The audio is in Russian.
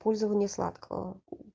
использование сладкого